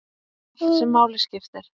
Allt sem máli skipti.